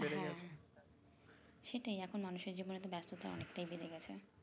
সেটাই এখন মানুষের জীবনে এত ব্যাস্ততা অনেকটাই বেরে গেছে